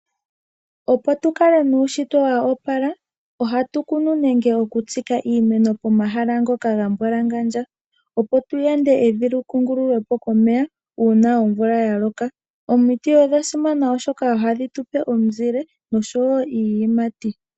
Opo tukale nuushitwe woopala ohatu kunu nenge oku tsika iimeno pomahala ngoka gambwalangandja, opo tuyande evi lyikungululwepo komeya uuna omvula yaloka. Omiti odha simana oshoka ohadhi tupe omizile nosho wo iiyimati.